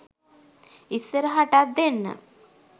ඉස්සරහටත් ‍දෙන්න